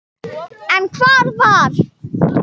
En hvar var